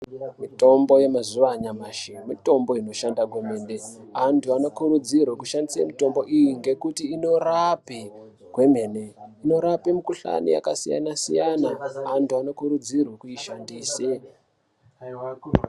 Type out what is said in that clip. Mazuva anyamashi, mitombo inishanda, antu anokiridzirwe kushandisa mitombo iyi ngekuyi inorape kwemene, inorape mikhuhlani yakasiyana siyana, antu anokurudzirwe kuishandise.